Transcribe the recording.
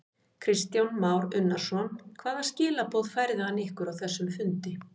Kristján Már Unnarsson: Hvaða skilaboð færði hann ykkur á þessum fundi?